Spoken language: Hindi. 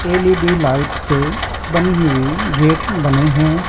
एल_ई_डी लाइट से बनी हुई गेट बने हैं।